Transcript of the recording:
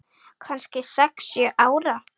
Kannski sex, sjö ára.